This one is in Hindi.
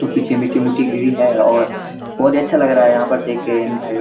तो पीछे मिट्टी-मुट्टी गिरी है और बहोत ही अच्‍छा लग रहा है यहाँ पे देख के इन भाई --